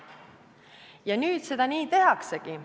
Ja nüüd seda nii tehaksegi.